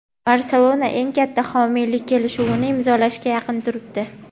"Barselona" eng katta homiylik kelishuvini imzolashga yaqin turibdi.